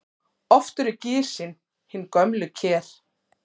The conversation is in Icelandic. Oft eru gisin hin gömlu ker.